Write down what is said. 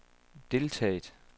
deltaget